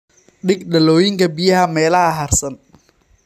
Dhig dhalooyinka biyaha meelaha hadhsan.